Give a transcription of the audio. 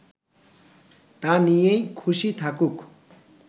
তা নিয়েই খুশি থাকুক